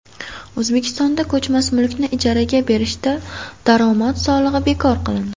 O‘zbekistonda ko‘chmas mulkni ijaraga berishda daromad solig‘i bekor qilindi.